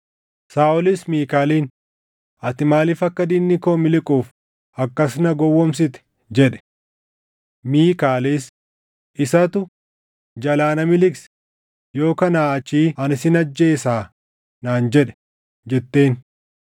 Saaʼolis Miikaaliin, “Ati maaliif akka diinni koo miliquuf akkas na gowwoomsite?” jedhe. Miikaalis, “Isatu, ‘Jalaa na miliqsi; yoo kanaa achii ani sin ajjeesaa’ naan jedhe” jetteen.